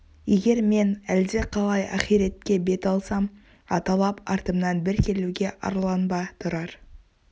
егер мен әлдеқалай ахиретке бет алсам аталап артымнан бір келуге арланба тұрар